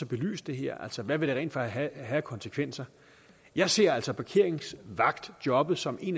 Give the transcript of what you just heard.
belyse det her altså hvad vil det rent faktisk have af konsekvenser jeg ser altså parkeringsvagtjobbet som et